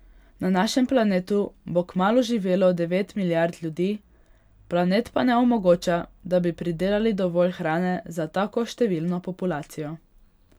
Na našem planetu bo kmalu živelo devet milijard ljudi, planet pa ne omogoča, da bi pridelali dovolj hrane za tako številno populacijo.